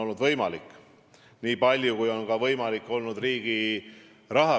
Nende vahel on tulnud leida poliitiline kompromiss, sõlmida koalitsioonileping ja koostada tegevusplaan.